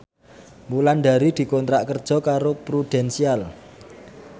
Wulandari dikontrak kerja karo Prudential